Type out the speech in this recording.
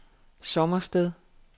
Sommersted